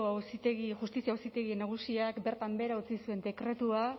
justizia auzitegi nagusiak bertan behera utzi zuen dekretua